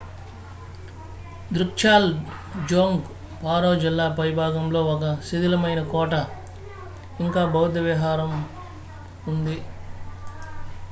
దృక్జ్యాల్ డ్జోంగ్ పారో జిల్లా పై భాగంలో ఒక శిధిలమైన కోట ఇంకా బౌద్ధ విహారం ఫోన్దేయ్ గ్రామంలో ఉంది